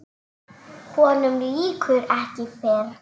Honum lýkur ekki fyrr.